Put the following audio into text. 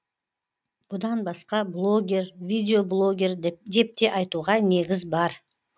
бұдан басқа блогер видеоблогер депте айтуға негіз бар